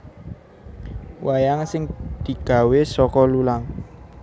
Wayang sing digawe saka lulang